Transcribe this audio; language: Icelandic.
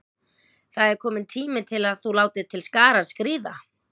Það er kominn tími til að þú látir til skarar skríða.